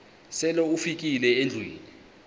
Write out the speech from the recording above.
sele ufikile endlwini